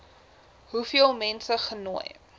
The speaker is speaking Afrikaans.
hoeveel mense genooi